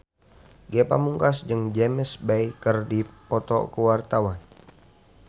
Ge Pamungkas jeung James Bay keur dipoto ku wartawan